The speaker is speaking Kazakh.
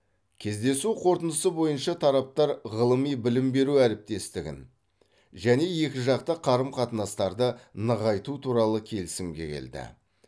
кездесу қорытындысы бойынша тараптар ғылыми білім беру әріптестігін және екіжақты қарым қатынастарды нығайту туралы келісімге келді